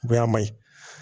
Bonya ma ɲi